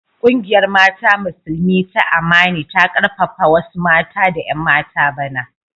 Kungiyar mata Musulmi ta Amani ta karfafa wasu mata da 'yan mata bana.